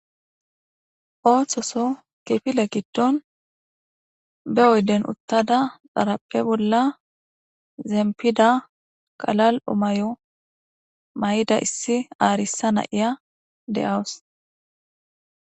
Ooththoso kifile giddon be oyden uttada xarappe bolla zempida qalal'omayo may'ida issi aarissa na iya de'awus.